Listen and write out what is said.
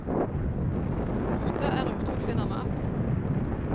Gutta er ute og finner maten.